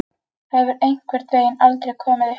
Það hefur einhvern veginn aldrei komið uppá.